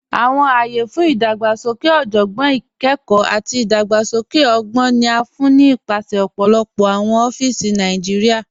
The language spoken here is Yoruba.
Awọn ayé fún idàgbàsókè ọjọ́gbọ́n, ìkẹ́kọ̀, àti idàgbàsókè ọ̀gbọn ni a fún ni nípasẹ̀ ọ̀pọ̀lọpọ̀ awọn ọ̀fíìsì Nàìjíríà.